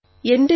ശബ്ദാംശം